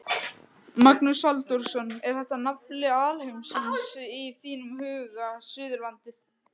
Magnús Halldórsson: Er þetta nafli alheimsins í þínum huga, Suðurlandið?